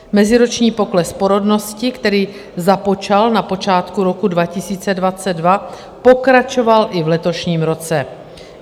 Meziroční pokles porodnosti, který započal na počátku roku 2022, pokračoval i v letošním roce.